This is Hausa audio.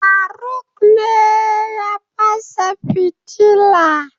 faruk ne ya fasa fitila